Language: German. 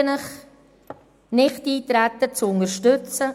Ich bitte Sie, das Nichteintreten zu unterstützen.